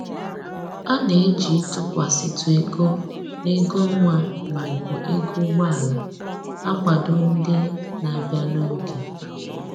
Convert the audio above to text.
A na-eji ịtụkwasịtụ ego n'ego ọnwa maọbụ ego ụgbọala akwado ndị na-abịa n'oge